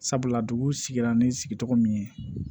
Sabula dugu sigira ni sigicogo min ye